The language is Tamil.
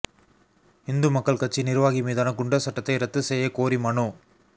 இந்து மக்கள் கட்சி நிா்வாகி மீதான குண்டா் சட்டத்தை ரத்து செய்யக் கோரி மனு